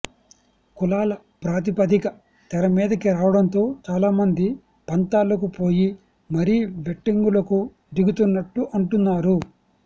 కులాల ప్రాతిపదిక తెరమీదకి రావడంతో చాలామంది పంతాలకు పోయి మరీ బెట్టింగులకు దిగుతున్నట్టు అంటున్నారు